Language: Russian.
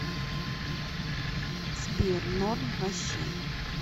сбер норм ваще